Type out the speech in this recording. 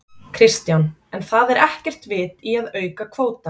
Kristján: En það er ekkert vit í að auka kvótann?